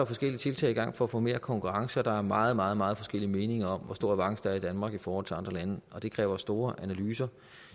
forskellige tiltag i gang for at få mere konkurrence og der er meget meget meget forskellige meninger om hvor stor avance der er i danmark i forhold til i andre lande og det kræver store analyser